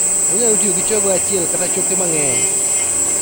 Onyalo tiyo gi chogo achiel kata choke mang'eny